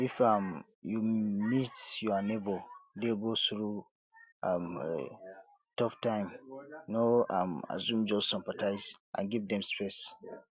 if um you meet your neigbour dey go through um tough time no um assume just sympathize and give dem space